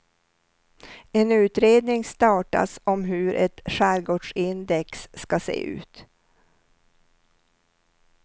En utredning startas om hur ett skärgårdsindex ska se ut.